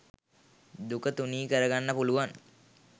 දුක තුනී කරගන්න පුළුවන්